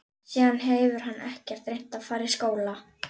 Síðan hefur hann ekkert reynt að fara í skóla.